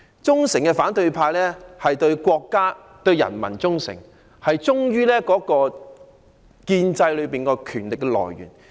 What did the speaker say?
忠誠的反對派對國家和人民忠誠，忠於建制內的權力來源。